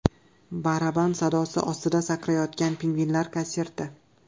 Baraban sadosi ostida sakrayotgan pingvinlar konserti.